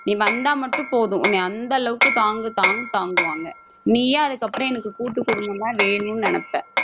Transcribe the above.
நீ வந்தா மட்டும் போதும். உன்னை அந்த அளவுக்கு தாங்கு தாங்கு தாங்குவாங்க. நீயே அதுக்கப்புறம் எனக்கு கூட்டுக் குடும்பம்தான் வேணும்னு நினைப்ப